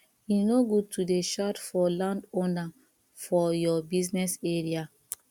e no good to dey shout for landowner for your business area